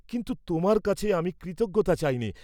কিন্তু তোমার কাছে আমি কৃতজ্ঞতা চাইনে।